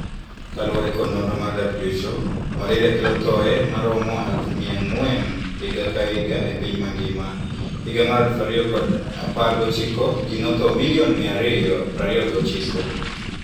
Kalure kod nonro mar WHO, malaria kelo thoe maromo eluf mia ang'wen higa ka higa e piny mangima. Higa mer eluf ario apar gochiko ji notho milion mia ario prario gochiko.